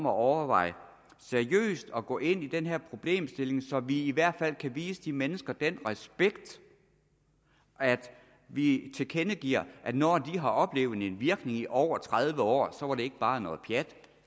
at overveje at gå ind i den her problemstilling så vi i hvert fald kan vise de mennesker den respekt at vi tilkendegiver at når de har oplevet en virkning i over tredive år så er det ikke bare noget pjat